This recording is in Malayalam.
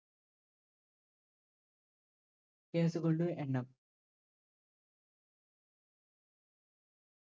case കളുടെ എണ്ണം